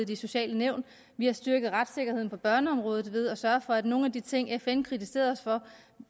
de sociale nævn ved at styrke retssikkerheden på børneområdet og ved at sørge for at nogle af de ting fn har kritiseret os for at